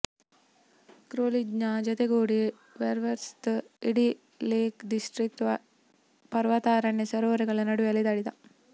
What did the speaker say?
ಕೋಲ್ರಿಜ್ನ ಜತೆಗೂಡಿ ವರ್ಡ್ಸ್ವರ್ತ್ ಇಡೀ ಲೇಕ್ ಡಿಸ್ಟ್ರಿಕ್ಟ್ನ ಪರ್ವತಾರಣ್ಯ ಸರೋವರಗಳ ನಡುವೆ ಅಲೆದಾಡಿದ